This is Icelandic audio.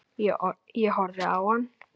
Ég horfði á hann.